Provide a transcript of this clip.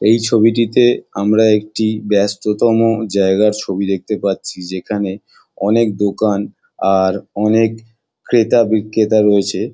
এই ছবিটিতে আমি একটি ব্যস্ততম জায়গার ছবি দেখতে পাচ্ছি যেখানে অনেক দোকান আর অনেক ক্রেতা বিক্রেতা রয়েছে।